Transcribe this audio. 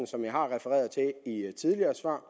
som jeg har refereret til i et tidligere svar